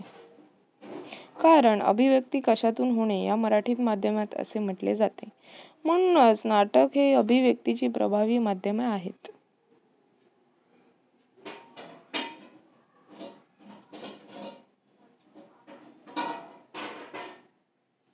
कारण अभिव्यक्ती कशातून होणे या मराठीत माध्यमात असे म्हटले जाते. म्हणूनच नाटक हे अभिव्यक्तीचे प्रभावी माध्यम आहेत.